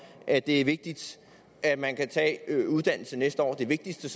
at det er vigtigt at man kan tage uddannelse næste år det vigtigste